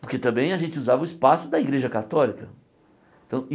Porque também a gente usava o espaço da igreja católica.